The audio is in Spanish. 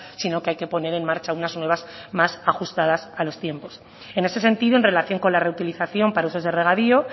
sino que hay que poner en marcha unas nuevas más ajustadas a los tiempos en ese sentido en relación con la reutilización para usos de regadío